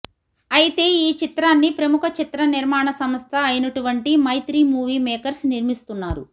అయితే ఈ చిత్రాన్ని ప్రముఖ చిత్ర నిర్మాణ సంస్థ ఐనటువంటి మైత్రి మూవీ మేకర్స్ నిర్మిస్తున్నారు